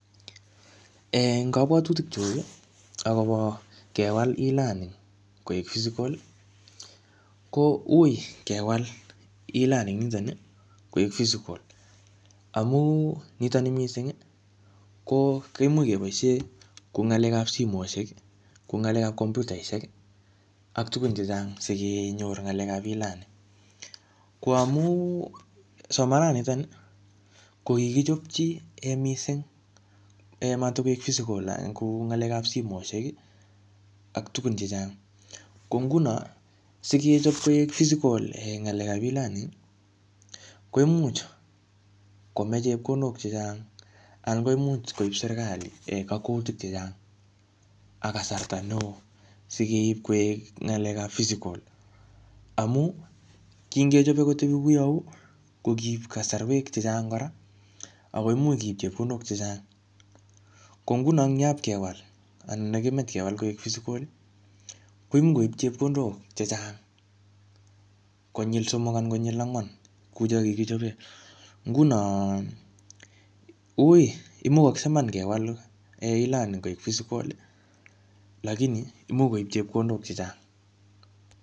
Eng kabwatutik chuk, akobo kewal E-learning koek physical, ko ui kewal E-learning nitoni koek physical. Amu nitoni missing, koimuch keboisie kuu ng'alekap simoshek, kuu ng'alekap kompyutaishek ak tugun chechang, sikenyor ng'lekap E-learning. Ko amu somanat nitoni, kokikichopchi um missing um matkoek physical kou ng'alekap simoishek, ak tugun chechang. Ko nguno, sikechop koek physical ng'alekap E-learning, koimuch komech chepkondok chechang, anan koimuch koip serikali um kakwautiet chechang, ak kasarta neoo sikeip koek ng'alekap physical. Amu, kingechope kotebi kou yeuu, ko kiip kasarwek chechang kora, akoimuch keip chepkondok chechang. Ko nguno eng yapkewal, anan yekimach kewal koek physical, koimuch koip chepkondok chechang konyil somok anan konyil angwan, kuu chakikichope. Nguno ui imugakse iman kewal um E-learning koek physical, lakini imuch koip chepkondok chechang.